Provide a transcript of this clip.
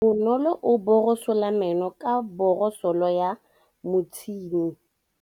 Bonolô o borosola meno ka borosolo ya motšhine.